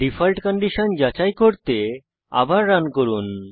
default condition যাচাই করতে আবার রান করুন